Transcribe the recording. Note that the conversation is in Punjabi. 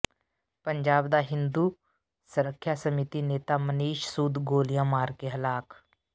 ਪੰਜਾਬ ਦਾ ਹਿੰਦੂ ਸਰੱਖਿਆ ਸਮਿਤੀ ਨੇਤਾ ਮਨੀਸ਼ ਸੂਦ ਗੋਲੀਆਂ ਮਾਰ ਕੇ ਹਲਾਕ